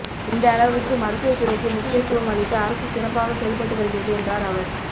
இந்த அளவுக்கு மருத்துவத் துறைக்கு முக்கியத்துவம் அளித்து அரசு சிறப்பாகச் செயல்பட்டு வருகிறது என்றாா் அவா்